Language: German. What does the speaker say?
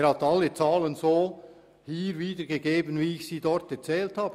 Er hat alle Zahlen so wiedergegeben, wie ich sie dort dargestellt habe.